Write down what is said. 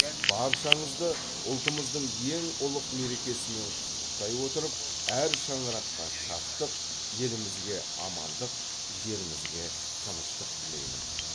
баршаңызды ұлтымыздың ең ұлық мерекесімен құттықтай отырып әр шаңыраққа шаттық елімізге амандық жерімізге тыныштық тілеймін